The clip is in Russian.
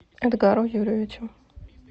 эдгару юрьевичу